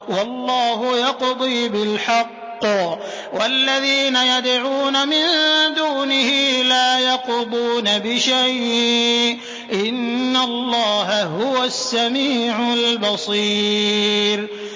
وَاللَّهُ يَقْضِي بِالْحَقِّ ۖ وَالَّذِينَ يَدْعُونَ مِن دُونِهِ لَا يَقْضُونَ بِشَيْءٍ ۗ إِنَّ اللَّهَ هُوَ السَّمِيعُ الْبَصِيرُ